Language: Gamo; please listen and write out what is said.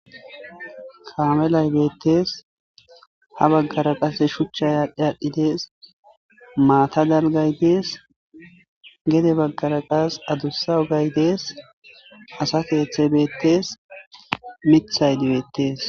Kaame lay beettes ha baggara qase shuchcha yaadhdhi aadhdhidees maata galgaydees gede baggara qas adussa ugaydees asa keeththe beettes mithay dibeettees